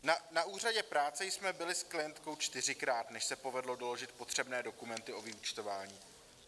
Na úřadě práce jsme byli s klientkou čtyřikrát, než se povedlo doložit potřebné dokumenty o vyúčtování.